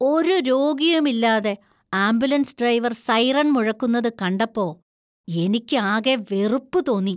ഒരു രോഗിയും ഇല്ലാതെ ആംബുലൻസ് ഡ്രൈവർ സൈറൺ മുഴക്കുന്നത് കണ്ടപ്പോ എനിക്ക് ആകെ വെറുപ്പ് തോന്നി .